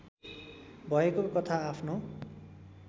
भएको कथा आफ्नो